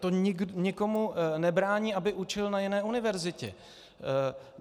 To nikomu nebrání, aby učil na jiné univerzitě.